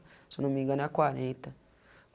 Se eu não me engana é a quarenta.